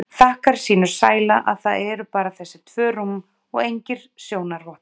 Þakkar sínum sæla að það eru bara þessi tvö rúm og engir sjónarvottar.